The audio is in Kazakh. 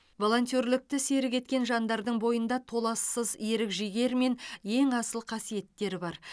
волонтерлікті серік еткен жандардың бойында толассыз ерік жігер мен ең асыл қасиеттер бар